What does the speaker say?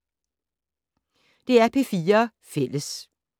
DR P4 Fælles